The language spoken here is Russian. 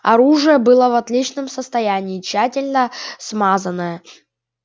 оружие было в отличном состоянии тщательно смазанное